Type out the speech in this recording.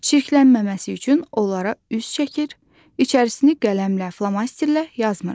Çirklənməməsi üçün onlara üz çəkir, içərisini qələmlə, flomasterlə yazmırıq.